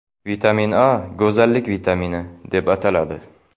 Vitamin A go‘zallik vitamini, deb ataladi.